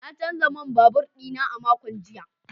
Na canza man babur dina a makon jiya.